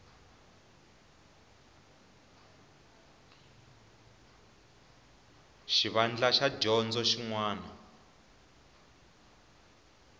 xivandla xa dyondzo xin wana